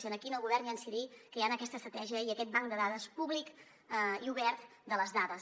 i aquí el govern hi ha d’incidir creant aquesta estratègia i aquest banc de dades públic i obert de les dades